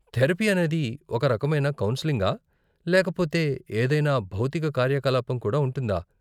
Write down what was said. Therapy అనేది ఒకరకమైన కౌన్సెలింగా, లేకపోతే ఏదైనా భౌతిక కార్యకలాపం కూడా ఉంటుందా?